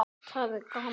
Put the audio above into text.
Elsku Sólrún mín.